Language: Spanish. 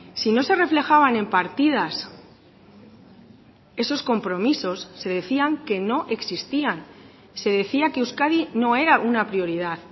si no se reflejaban en partidas esos compromisos se decían que no existían se decía que euskadi no era una prioridad